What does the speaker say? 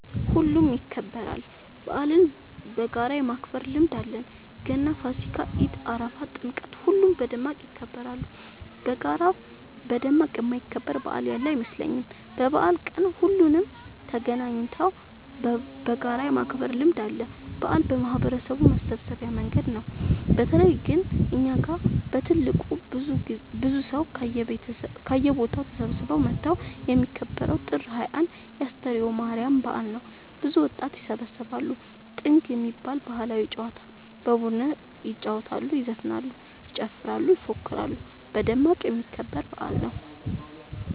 ሁሉም ይከበራል። በአልን በጋራ የማክበር ልምድ አለን ገና ፋሲካ ኢድ አረፋ ጥምቀት ሁሉም በደማቅ ይከበራሉ። በጋራ በደማቅ የማይከበር በአል ያለ አይመስለኝም። በበአል ቀን ሁሉም ተገናኘተው በጋራ የማክበር ልምድ አለ። በአል የማህበረሰቡ መሰብሰቢያ መንገድ ነው። በተለይ ግን እኛ ጋ በትልቁ ብዙ ሰው ከየቦታው ተሰብስበው መተው የሚከበረው ጥር 21 የ አስተርዮ ማርያም በአል ነው። ብዙ ወጣት ይሰባሰባሉ። ጥንግ የሚባል ባህላዊ ጨዋታ በቡድን ይጫወታሉ ይዘፍናሉ ይጨፍራሉ ይፎክራሉ በደማቁ የሚከበር በአል ነው።